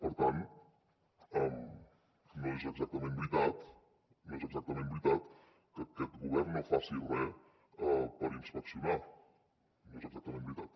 per tant no és exactament veritat no és exactament veritat que aquest govern no faci res per inspeccionar no és exactament veritat